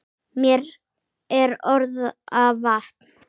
Mér er orða vant.